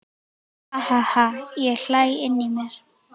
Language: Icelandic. Ha ha ha ég hlæ inní mér.